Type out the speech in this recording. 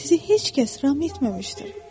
Sizi heç kəs ram etməmişdir.